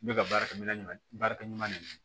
N bɛ ka baarakɛminɛn ɲuman baarakɛ ɲuman de kɛ